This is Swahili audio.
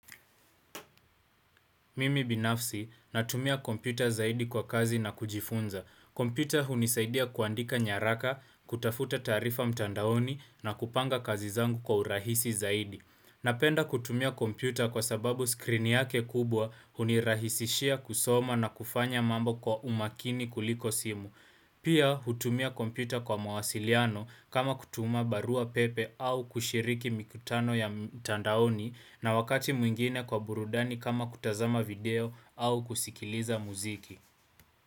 Mimi binafsi, natumia kompyuta zaidi kwa kazi na kujifunza. Kompyuta hunisaidia kuandika nyaraka, kutafuta taarifa mtandaoni na kupanga kazi zangu kwa urahisi zaidi. Napenda kutumia kompyuta kwa sababu skrini yake kubwa hunirahisishia kusoma na kufanya mambo kwa umakini kuliko simu. Pia, hutumia kompyuta kwa mawasiliano kama kutuma barua pepe au kushiriki mikutano ya mtandaoni na wakati mwingine kwa burudani kama kutazama video au kusikiliza muziki.